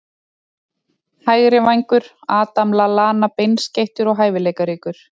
Hægri vængur- Adam Lallana Beinskeyttur og hæfileikaríkur.